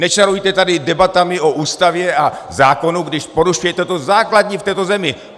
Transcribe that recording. Nečarujte tady debatami o Ústavě a zákonu, když porušujete to základní v této zemi!